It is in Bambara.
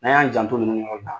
N'an y'an janto ninnu yɔrɔw la.